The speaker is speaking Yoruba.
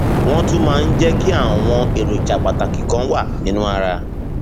wọn tún máa ń jẹ kí àwọn èròjà pàtàkì kan wà nínú ara